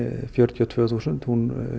fjörutíu og tvö þúsund hún